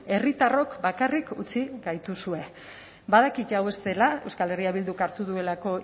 herritarrok bakarrik utzi gaituzue badakit hau ez dela euskal herria bilduk hartu duelako